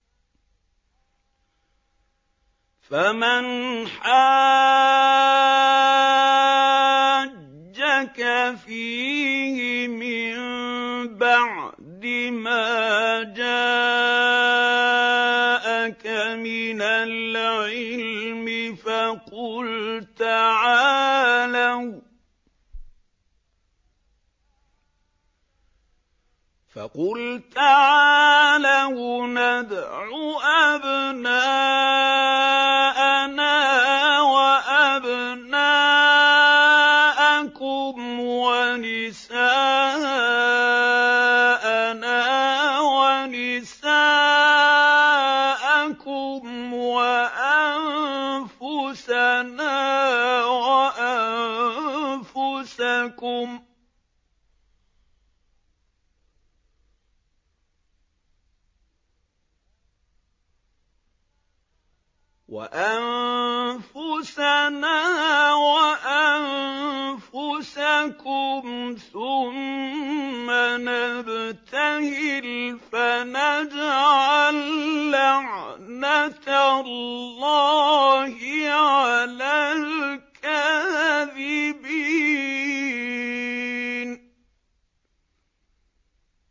فَمَنْ حَاجَّكَ فِيهِ مِن بَعْدِ مَا جَاءَكَ مِنَ الْعِلْمِ فَقُلْ تَعَالَوْا نَدْعُ أَبْنَاءَنَا وَأَبْنَاءَكُمْ وَنِسَاءَنَا وَنِسَاءَكُمْ وَأَنفُسَنَا وَأَنفُسَكُمْ ثُمَّ نَبْتَهِلْ فَنَجْعَل لَّعْنَتَ اللَّهِ عَلَى الْكَاذِبِينَ